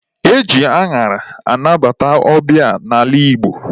E ji añara anabata ọbịa n'ala Igbo.